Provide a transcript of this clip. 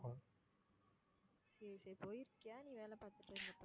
சரி சரி, போயிருக்கியா நீ வேலை பாத்துட்டு இருந்தப்போ.